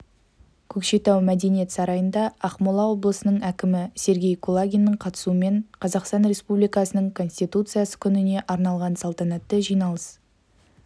көкшетау мәдениет сарайында ақмола облысының әкімі сергей кулагиннің қатысуымен қазақстан республикасының конституциясы күніне арналған салтанатты жиналыс